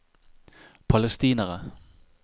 palestinere